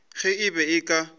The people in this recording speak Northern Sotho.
ge e be e ka